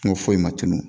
N ko foyi ma tunun